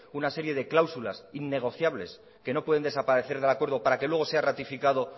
una serie de cláusulas innegociables que no pueden desaparecer del acuerdo para que luego sea ratificado